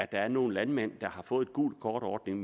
der er nogle landmænd der har fået en gult kort ordning